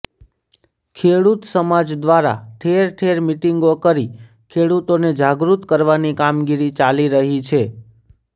ખેડૂત સમાજ દ્વારા ઠેર ઠેર મિટિંગો કરી ખેડૂતોને જાગૃત કરવાની કામગીરી ચાલી રહી છે